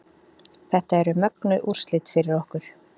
Þetta eru mögnuð úrslit fyrir okkur